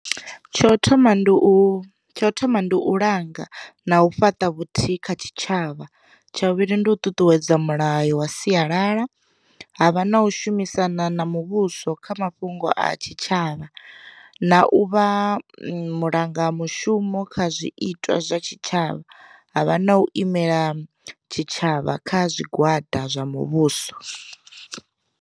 Tsho thoma ndi u, tsha u thoma ndi u langa na u fhaṱa vhuthihi kha tshitshavha. Tsha vhuvhili ndi u ṱuṱuwedza mulayo wa sialala, havha na u shumisana na muvhuso kha mafhungo a tshi tshavha, na u vha mulanga mushumo kha zwiitwa zwa tshi tshavha havha na u imela tshi tshavha kha zwigwada zwa muvhuso.